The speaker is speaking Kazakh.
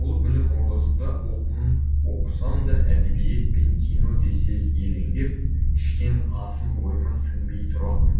бұл білім ордасында оқуын оқысам да әдебиет пен кино десе елеңдеп ішкен асым бойыма сіңбей тұратын